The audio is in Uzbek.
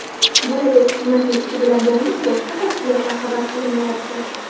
Bo‘lajak hukumatning ishi bilan bog‘liq boshqa tafsilotlar xabar qilinmayapti.